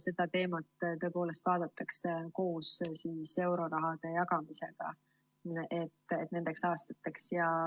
Seda teemat vaadatakse koos euroraha jagamisega nendeks aastateks.